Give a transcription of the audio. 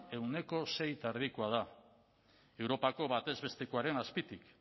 ehuneko sei koma bostekoa da europako batez bestekoaren azpitik